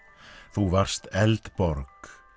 þú varst Eldborg